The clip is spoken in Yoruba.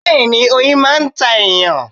Bẹ́ẹ̀ni, oyin máà ń ta èyàn